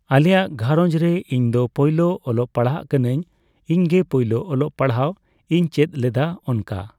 ᱟᱞᱮᱭᱟᱜ ᱜᱷᱟᱨᱚᱸᱧᱡᱽ ᱨᱮ ᱤᱧ ᱫᱚ ᱯᱚᱭᱞᱳ ᱚᱞᱚᱜ ᱯᱟᱲᱦᱟᱜ ᱠᱟᱱᱟᱹᱧ ᱤᱧᱜᱮ ᱯᱳᱭᱞᱳ ᱚᱞᱚᱜ ᱯᱟᱲᱦᱟᱜ ᱤᱧ ᱪᱮᱫ ᱞᱮᱫᱟ ᱚᱱᱠᱟ